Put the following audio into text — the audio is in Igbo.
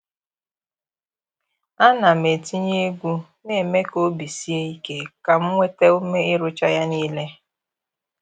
A na m etinye egwu na-eme ka obi sie ike ka m nweta ume ịrụcha ya niile.